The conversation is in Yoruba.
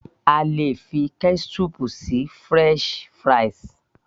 a lè fi ketchup sí french fries